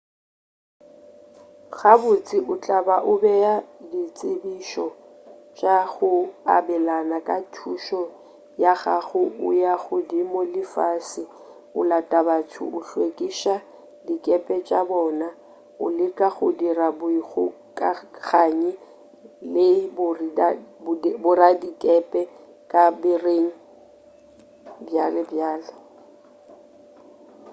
gabotse o tla ba o bea ditsebišo tša go abelana ka thušo ya gago o ya godimo le fase o lata batho o hlwekiša dikepe tša bona o leka go dira boikgokaganyi le boradikepe ka bareng bjbj